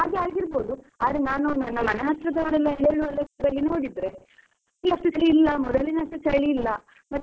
ಆದ್ರೆ ನಾನು ನನ್ನ ಮನೆ ಹತ್ರದ್ದವರೆಲ್ಲ ಹೇಳುವ ಲೆಕ್ಕದಲ್ಲಿ ನೋಡಿದ್ರೆ, ಈಗ ಅಷ್ಟು ಚಳಿ ಇಲ್ಲ ಮೊದಲಿನಷ್ಟು ಚಳಿಯಲ್ಲ, ಮತ್ತೆ ಬೆಳಿಗ್ಗೆಯೆಲ್ಲಾ?